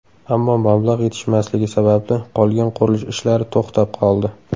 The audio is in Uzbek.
Ammo mablag‘ yetishmasligi sababli qolgan qurilish ishlari to‘xtab qoldi.